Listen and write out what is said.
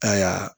Ka ya